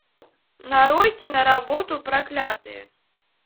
нарой киноработу проклятые